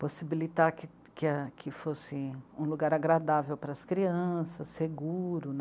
possibilitar que, que a, que fosse um lugar agradável para as crianças, seguro.